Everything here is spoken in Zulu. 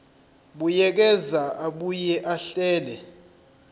buyekeza abuye ahlele